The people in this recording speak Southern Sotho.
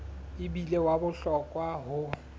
e bile wa bohlokwa ho